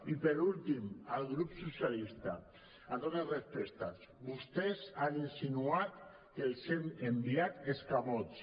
i per últim al grup socialista amb totes els respectes vostès han insinuat que els hem enviat escamots